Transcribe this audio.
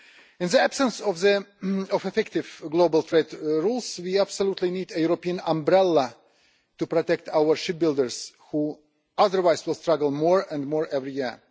In the absence of effective global trade rules we absolutely need a European umbrella to protect our shipbuilders who otherwise will struggle more and more every year.